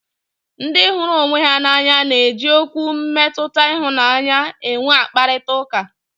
Ndị hụrụ onwe ha n'anya na eji Okwu mmetụta ịhụnanya enwe mkparịta ụka